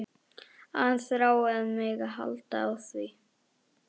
Að hann þrái að mega halda á því.